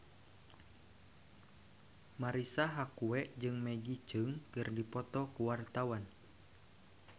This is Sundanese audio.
Marisa Haque jeung Maggie Cheung keur dipoto ku wartawan